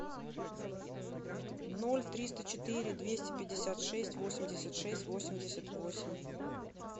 ноль триста четыре двести пятьдесят шесть восемьдесят шесть восемьдесят восемь